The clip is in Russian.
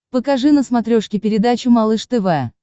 покажи на смотрешке передачу малыш тв